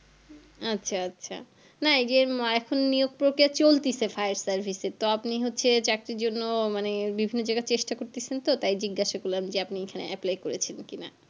আচ্ছা আচ্ছা না এই যে এখন নিযোগ প্রক্রিয়া চলছে fire service এ তো আপনি হচ্ছে চাকরির জন্য মানে বিভিন্ন জায়গায় চেষ্টা করছেন তো তাই জিজ্ঞাসা করলাম যে আপনি এখানে apply করেছেন কি না